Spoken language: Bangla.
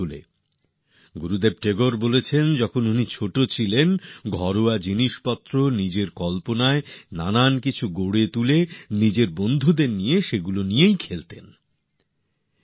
গুরুদেব রবীন্দ্রনাথ ঠাকুর বলেছিলেন যখন তিনি ছোট ছিলেন নিজের কল্পনা মিশিয়ে ঘরের জিনিস দিয়েই নিজের বন্ধুদের সঙ্গে মিলে খেলা আর খেলনা তৈরী করতেন